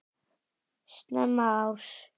Snemma árs